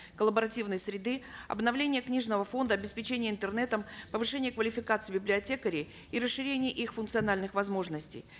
коллаборативной среды обновление книжного фонла обеспечение интернетом повышение квалификации библиотекарей и расширение их функциональных возможностей